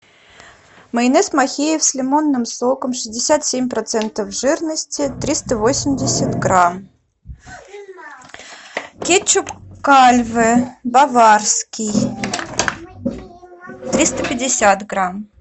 майонез махеев с лимонным соком шестьдесят семь процентов жирности триста восемьдесят грамм кетчуп кальве баварский триста пятьдесят грамм